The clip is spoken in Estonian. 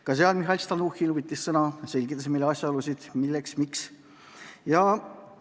Ka seal võttis sõna Mihhail Stalnuhhin, kes selgitas meile asjaolusid, milleks eelnõu algatatud on.